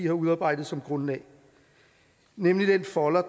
har udarbejdet som grundlag nemlig den folder